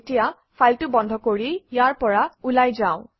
এতিয়া ফাইলটো বন্ধ কৰি ইয়াৰ পৰা ওলাই যাওঁ